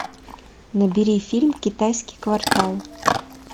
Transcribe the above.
набери фильм китайский квартал